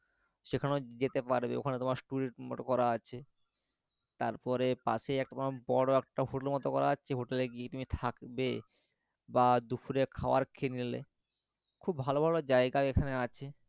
সেখানেও যেতে পারবে ওখানে তোমার মতো করা আছে, তারপরে পাশেই একটা বড়ো হোটেলের মত করা আছে হোটেলে গিয়ে থাকলে বা দুপুরে খাবার খেয়ে নিলে খুব ভালো ভালো জায়গায় এইখানে আছে,